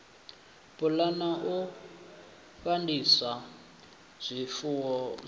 pulana u fandisa zwifuwo zwavho